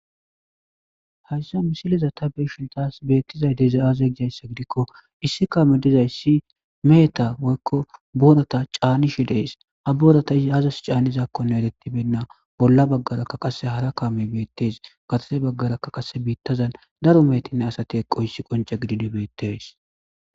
hayssa misiliza ta beshin taas beettizay dezay aaze gijayssa gidikko issi kaame dizay si meheta woykko boorata caanishe dees ha boorata isi azas caanizakkonne etettibenna bolla baggarakka qasse hara kaame beettees katase baggarakka qase biittazan daro meetinne asati eqqohissi qonce gididibeettes